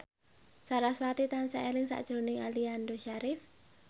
sarasvati tansah eling sakjroning Aliando Syarif